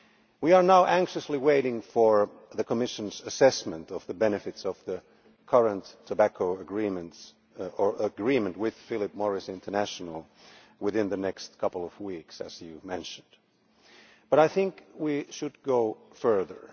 We are now anxiously waiting for the Commission's assessment of the benefits of the current tobacco agreements, or agreement with Philip Morris International, within the next couple of weeks, as was mentioned. But I think we should go further.